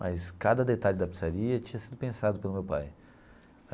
mas cada detalhe da pizzaria tinha sido pensado pelo meu pai.